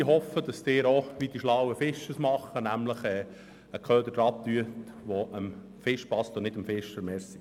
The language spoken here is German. Ich hoffe, dass Sie sich so verhalten wie die schlauen Fischer und einen Köder befestigen, der dem Fisch schmeckt.